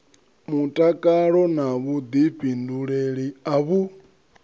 mutakalo na vhuḓifhinduleli a vhu